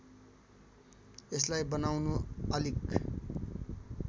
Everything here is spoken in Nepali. यसलाई बनाउनु अलिक